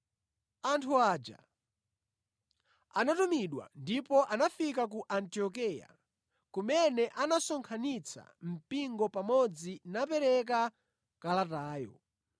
Anthu aja anatumidwa ndipo anafika ku Antiokeya, kumene anasonkhanitsa mpingo pamodzi napereka kalatayo.